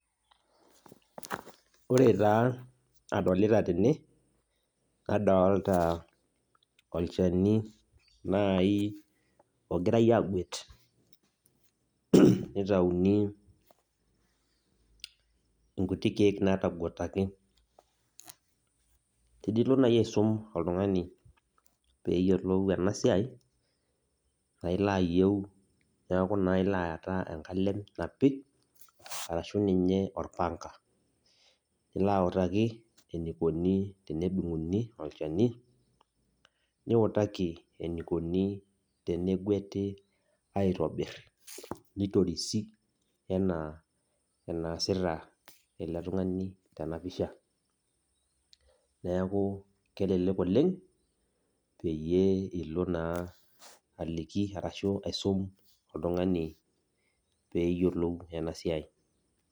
Ore taa adolita tene, nadolita olchani nai ogirai aguet, nitauni inkuti keek nataguataki. Tenilo nai aisum oltung'ani peyiolou enasiai, naa ilo ayieu, neku naa ilo aata enkalem napi arashu ninye orpanga. Nilo autaki enikoni tenedung'uni olchani, niutaki enikoni tenegueti aitobirr nitorisi enaa enaasita ele tung'ani tenapisha. Neeku kelelek oleng', peyie ilo naa aliki arashu aisum oltung'ani peyiolou enasiai.